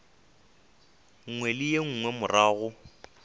nngwe le ye nngwe morago